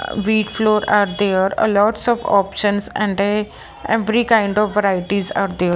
wheat floor are there a lots of options and a every kind of varieties are there .